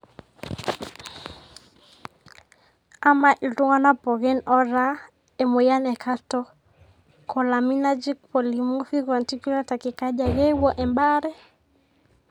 Amaa ltunganak pookin otaa emoyian e catecholaminergic polymorphic vanticular tachycardia keyeu ebare?